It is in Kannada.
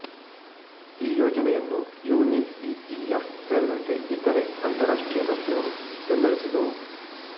ಈ ಯೋಜನೆಯನ್ನು UNICEF ಸೇರಿದಂತೆ ಇತರೆ ಅಂತರರಾಷ್ಟ್ರೀಯ ಸಂಸ್ಥೆಗಳು ಬೆಂಬಲಿಸಿದವು